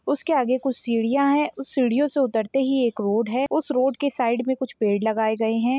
उसके आगे कुछ सीढ़ियाँ हैं उस सीढ़ियों से उतरते ही एक रोड है उस रोड के साइड में कुछ पेड़ लगाए गए हैं।